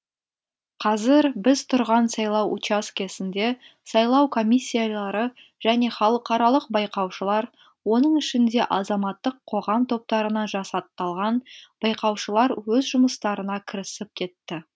қазір біз тұрған сайлау учаскесінде сайлау комиссиялары және халықаралық байқаушылар оның ішінде азаматтық қоғам топтарынан жасақталған байқаушылар өз жұмыстарына кірісіп кетті